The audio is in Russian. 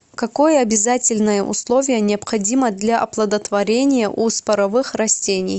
какое обязательное условие необходимо для оплодотворения у споровых растений